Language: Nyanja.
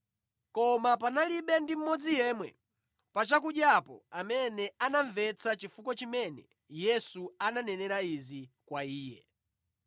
Koma panalibe ndi mmodzi yemwe pa chakudyapo amene anamvetsa chifukwa chimene Yesu ananenera izi kwa iye.